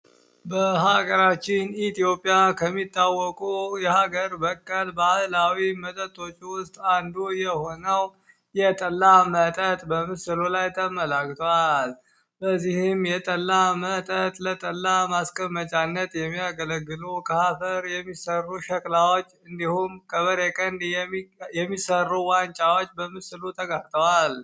በሀገራችን ኢትዮጵያ ከሚታወቁ የሀገር በቀል ባህላዊ መጠጦች ውስጥ አንዱ የሆነው የጠላ መጠጥ በምስሉ ላይ ተመላክቷል። በዚህም የጠላ መጠጥ ለጠላ ማስቀመጫነት የሚያገለግሉ ከአፈር የሚሠሩ ሸክላዎች እንዲሁም ከበሬ ቀንድ የሚሠሩ ዋንጫዎች በምስሉ ተካተዋል።